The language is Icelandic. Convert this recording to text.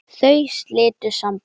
Þau slitu sambúð.